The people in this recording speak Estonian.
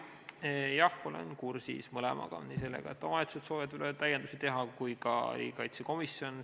Jah, olen kursis mõlemaga, nii sellega, et omavalitsused soovivad veel täiendusi teha, kui ka riigikaitsekomisjoni arvamusega.